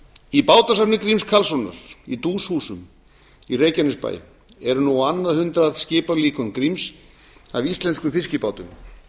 í bátasafni gríms karlssonar í duus húsum í reykjanesbæ eru nú á annað hundrað skipalíkön gríms af íslenskum fiskibátum